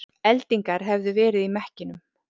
Eldingar hefðu verið í mekkinum